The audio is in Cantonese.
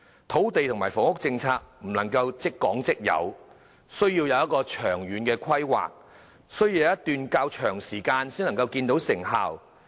土地和房屋政策並不能一蹴而就，需要有長遠的規劃，經過一段較長時間才能看見成效。